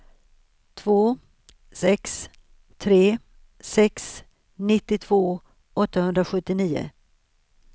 två sex tre sex nittiotvå åttahundrasjuttionio